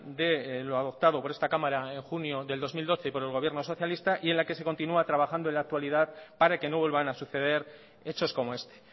de lo adoptado por esta cámara en junio del dos mil doce y por el gobierno socialista y en la que se continúa trabajando en la actualidad para que no vuelvan a suceder hechos como este